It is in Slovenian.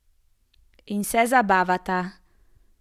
In se zabavata.